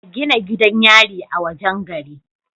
A Gina gidan yari a wajan gari